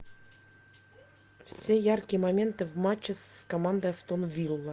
все яркие моменты в матче с командой астон вилла